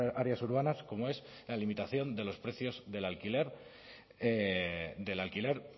las áreas urbanas como es la limitación de los precios del alquiler